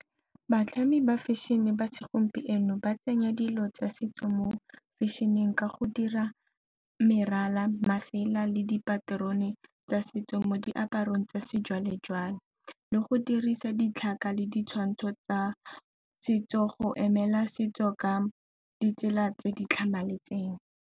Batlhami ba fashion-e ba segompieno ba tsenya dilo tsa setso mo fashion-eng ka go dira merala, masela le dipaterone tsa setso mo diaparong tsa sejwale-jwale, le go dirisa ditlhaka le ditshwantsho tsa setso go emela setso ka ditsela tse di tlhamaletseng.